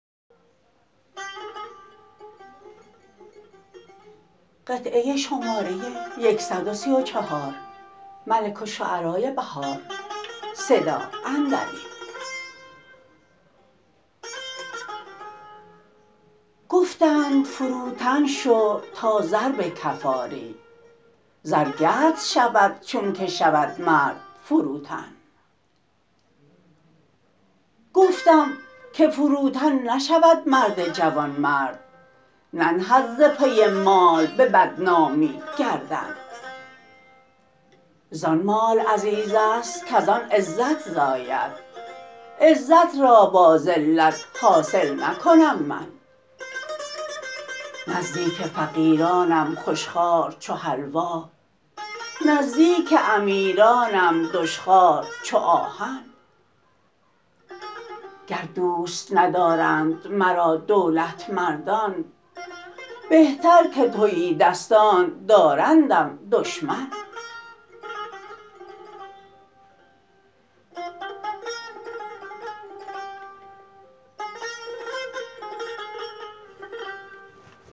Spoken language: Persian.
گفتند فروتن شو تا زر به کف آری زرگرد شود چون که شود مرد فروتن گفتم که فروتن نشود مرد جوانمرد ننهد ز پی مال به بدنامی گردن زان مال عزیز است کزان عزت زاید عزت را با ذلت حاصل نکنم من نزدیک فقیرانم خوشخوار چو حلوا نزدیک امیرانم دشخوار چو آهن گر دوست ندارند مرا دولتمندان بهتر که تهیدستان دارندم دشمن